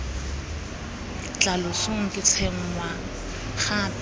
tla losong ke tshwenngwa gape